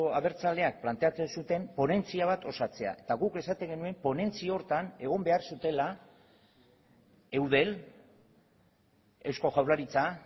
abertzaleak planteatzen zuten ponentzia bat osatzea eta guk esaten genuen ponentzia horretan egon behar zutela eudel eusko jaurlaritza